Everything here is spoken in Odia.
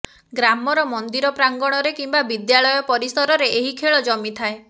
ଗ୍ରାମର ମନ୍ଦିର ପ୍ରାଙ୍ଗଣରେ କିମ୍ବା ବିଦ୍ୟାଳୟ ପରିସରରେ ଏହି ଖେଳ ଜମିଥାଏ